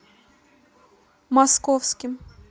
московским